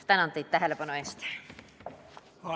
Tänan teid tähelepanu eest!